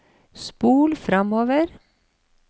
spol framover